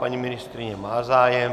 Paní ministryně má zájem.